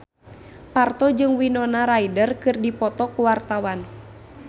Parto jeung Winona Ryder keur dipoto ku wartawan